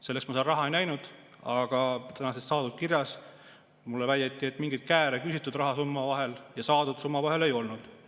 Selleks ma seal raha ei näinud, aga täna saadud kirjas mulle väideti, et mingeid kääre küsitud ja saadud summa vahel ei olnud.